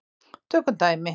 Tökum dæmi.